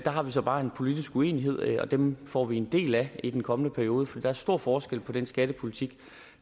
har vi så bare en politisk uenighed og dem får vi en del af i den kommende periode for der er stor forskel på den skattepolitik